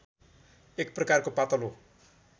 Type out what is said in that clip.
एक प्रकारको पातलो